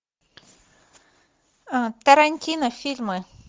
тарантино фильмы